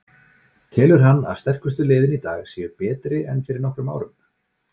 Telur hann að sterkustu liðin í dag séu betri en fyrir nokkrum árum?